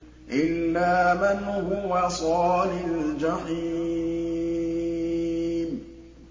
إِلَّا مَنْ هُوَ صَالِ الْجَحِيمِ